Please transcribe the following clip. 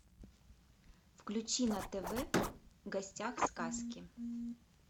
включи на тв в гостях у сказки